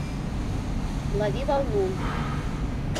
лови волну